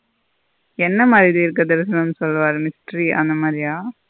என்ன மாறி தீர்கதரிசனம் சொல்வர history அந்த மாறிய.